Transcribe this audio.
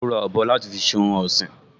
Ó ra ọ̀bọ láti fi ṣe ohun ọ̀sìn